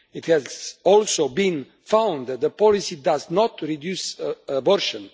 It has also been found that the policy does not reduce abortion.